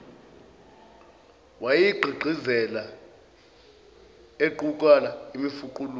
wayegqigqizela equkula imifuqulu